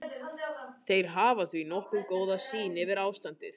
Þeir hafa því nokkuð góða sýn yfir ástandið.